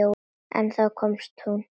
En þá komst þú.